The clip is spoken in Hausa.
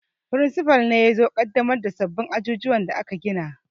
Firinsifal ne yazo ya ƙaddamar da sabbin ajujuwan da aka gina